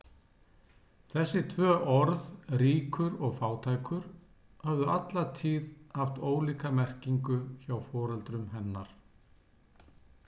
Þessi tvö orð, ríkur og fátækur, höfðu alla tíð haft ólíka merkingu hjá foreldrum hennar.